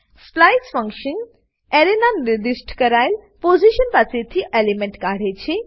splice function એરેના નિર્દિષ્ટ કરાયેલ પોઝીશન પાસે થી એલિમેન્ટ કાઢે છે